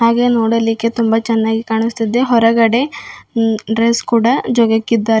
ಹಾಗೆ ನೋಡಲಿಕ್ಕೆ ತುಂಬ ಚೆನ್ನಾಗಿ ಕಾಣಿಸ್ತಿದ್ದೆ ಹೊರಗಡೆ ಉ ಡ್ರೆಸ್ ಕೂಡ ಜೋಗ್ಯಾಕಿದ್ದಾರೆ.